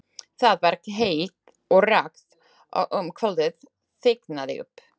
Það var heitt og rakt og um kvöldið þykknaði upp.